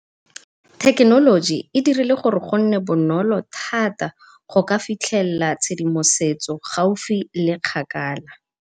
Thekenoloji e dirile gore gonne bonolo thata goka fitlhella tshedimosetso gaufi le kgakala.